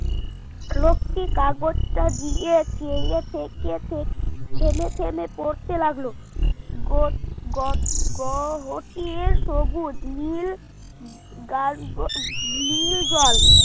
লোকটি কাগজটা দিয়ে চেয়ে থেকে থেকে থেমে থেমে পড়তে লাগলো গ গ গহতির সবুজ নীল নীল জল